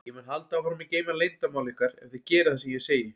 Ég mun halda áfram að geyma leyndarmál ykkar ef þið gerið það sem ég segi.